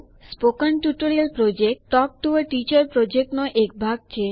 spoken tutorial project talk to a teacher યોજનાનો એક ભાગ છે